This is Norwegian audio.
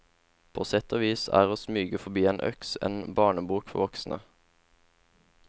På sett og vis er å smyge forbi en øks en barnebok for voksne.